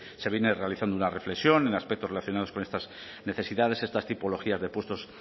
se viene realizando una reflexión en aspectos relacionados con estas necesidades estas tipologías de puestos